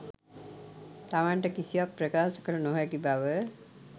තමන්ට කිසිවක් ප්‍රකාශ කළ නොහැකි බව